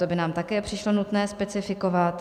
To by nám také přišlo nutné specifikovat.